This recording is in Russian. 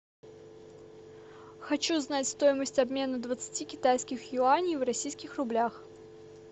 хочу знать стоимость обмена двадцати китайских юаней в российских рублях